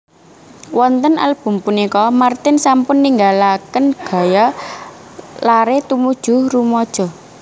Wonten album punika martin sampun ninggalaken gaya lare tumuju rumaja